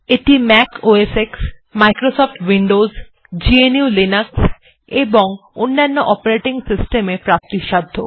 এটি Mac OS X Microsoft Windows GNU Linux এবং অন্যান্য অপারেটিং সিস্টেম এ প্রাপ্তিসাধ্য